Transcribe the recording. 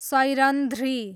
Sairandhri